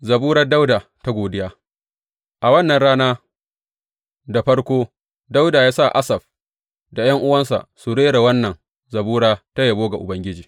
Zaburar Dawuda ta godiya A wannan rana, da farko, Dawuda ya sa Asaf da ’yan’uwansa su rera wannan zabura ta yabo ga Ubangiji.